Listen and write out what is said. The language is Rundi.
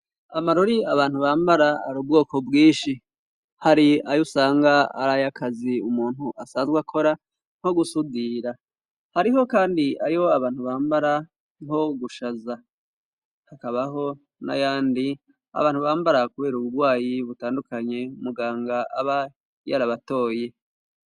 Amarori abantu bambara ari ubwoko bwinshi, hari ayo usanga ari ayo akazi umuntu asanzwe akora nko gusudira, hariho kandi ayo abantu bambara nko gushaza, hakabaho n'ayandi abantu bambara kubera uburwayi butandukanye muganga aba yarabatoye.